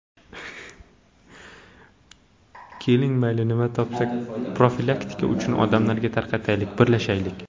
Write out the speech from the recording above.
Keling mayli nima topsak profilaktika uchun odamlarga tarqataylik, birlashaylik.